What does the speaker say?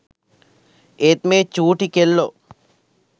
ඒත් මේ චූටි කෙල්ලෝ